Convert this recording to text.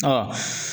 Ɔ